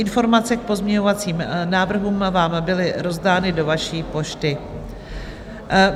Informace k pozměňovacím návrhům vám byly rozdány do vaší pošty.